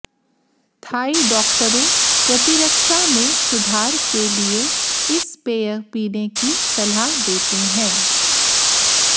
Thai डॉक्टरों प्रतिरक्षा में सुधार के लिए इस पेय पीने की सलाह देते हैं